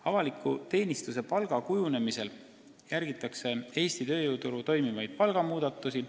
Avaliku teenistuse palga kujundamisel järgitakse Eesti tööjõuturul toimuvaid palgamuudatusi.